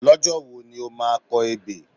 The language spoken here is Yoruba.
Lọ́jọ́ wo ni o máa kọ ebè?